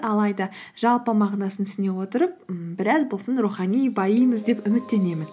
алайда жалпы мағынасын түсіне отырып ммм біраз болсын рухани байимыз деп үміттенемін